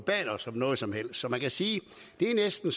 bad os om noget som helst så man kan sige at det næsten